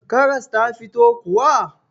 Karas ta fito kuwa?